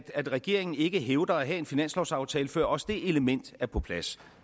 regeringen ikke hævder at have en finanslovsaftale før også det element er på plads